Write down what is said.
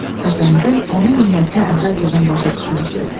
Xəzangül onun niyyətinə əvvəlcədən başa düşmüşdü.